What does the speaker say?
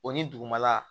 O ni dugumala